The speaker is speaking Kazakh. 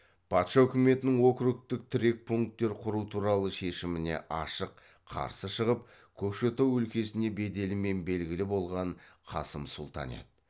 патша үкіметінің округтік тірек пункттер құру туралы шешіміне ашық қарсы шығып көкшетау өлкесіне беделімен белгілі болған қасым сұлтан еді